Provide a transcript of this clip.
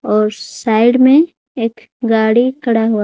और साइड में एक गाड़ी खड़ा हुआ--